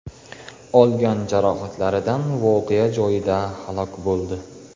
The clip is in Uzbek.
olgan jarohatlaridan voqea joyida halok bo‘ldi.